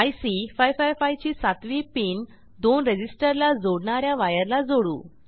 IC 555 ची सातवी pin दोन रेझिस्टर ला जोडणा या वायर ला जोडू